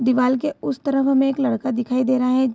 दीवार के उस तरफ हमे एक लड़का दिखाई दे रहा है।